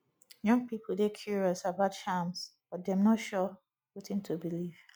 young pipo dey curious about charms but dem no sure wetin to believe